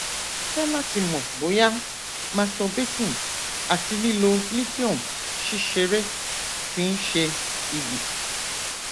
fẹ lati mọ boya masturbating ati lilo lithium ṣiṣere ti n ṣe igbi